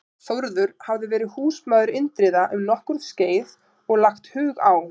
Þórður hafði verið húsmaður Indriða um nokkurt skeið og lagt hug á